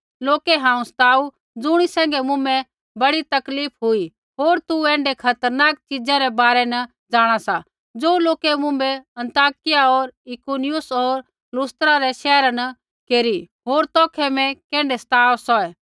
लोकै हांऊँ सताऊ ज़ुणी सैंघै मुँभै बड़ी तकलीफ हुई होर तू ऐण्ढै खतरनाक च़ीजा रै बारै न जाँणा सा ज़ो लोकै मुँभै अन्ताकिया होर इकुनियुम होर लुस्त्रा रै शैहरा न केरी होर मैं तौखै कैण्ढै सताव सौहै